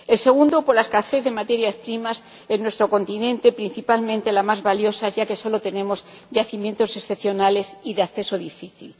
El segundo, la escasez de materias primas en nuestro continente, principalmente de las más valiosas, ya que solo tenemos yacimientos excepcionales y de acceso difícil.